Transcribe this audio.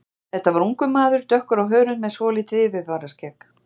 Þetta var ungur maður, dökkur á hörund með svolítið yfirvaraskegg.